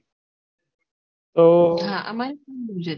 હા અમારે પણ આવું જ હતું